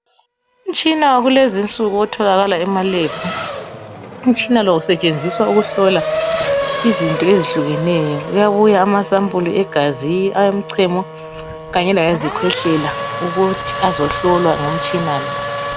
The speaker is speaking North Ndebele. Umtshina wakulezinsuku othalakala kumalebhu umtshina lowo usetshenziswa ukuhlola izinto ezihlukeneyo kuyabuya amasampulu egazi awomcamo kanye lawezikwehlela ukuthi azohlolwa ngomtshina